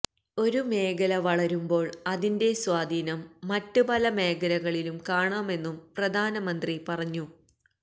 ഒരു മേഖല വളരുമ്പോള് അതിന്റെ സ്വാധീനം മറ്റ് പല മേഖലകളിലും കാണാമെന്നും പ്രധാനമന്ത്രി പറഞ്ഞു